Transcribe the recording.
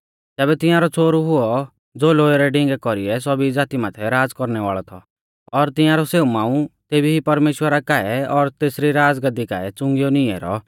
तैबै तियांरौ छ़ोहरु हुऔ ज़ो लोहै रै डिंगै कौरीऐ सौभी ज़ाती माथै राज़ कौरणै वाल़ौ थौ और तिंआरौ सेऊ मांऊ तेभी ई परमेश्‍वरा काऐ और तेसरी राज़गाद्दी काऐ च़ुंगीयौ नींई ऐरौ